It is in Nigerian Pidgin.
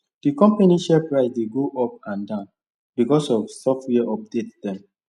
the company share price dey go up and down because of software update dem